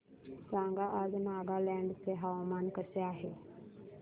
सांगा आज नागालँड चे हवामान कसे आहे